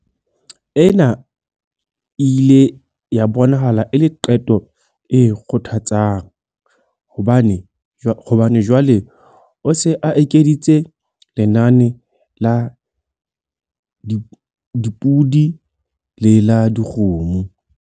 Ena e ile ya bonahala e le qeto e kgothatsang hobane jwale o se a ekeditse lenane la dipodi le la dikgomo.